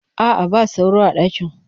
A'a, ba sauro a ɗakin.